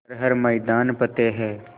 कर हर मैदान फ़तेह